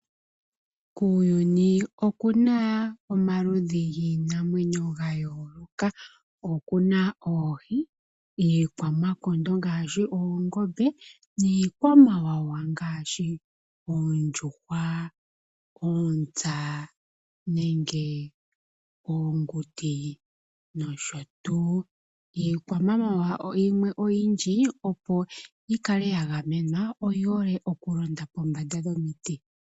Kuuyuni oku na omaludhi giinamwenyo ga yooloka. Oku na oohi, iikwamakondo ngaashi oongombe niikwamawawa ngaashi oondjuhwa, oontsa nenge oonguti nosho tuu. Iikwamawawa imwe oyindji opo yi kale ya gamenwa, oyi hole okulonda pombanda dhomiti.